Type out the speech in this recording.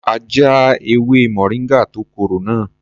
A jẹ ewé moringa tó korò náà.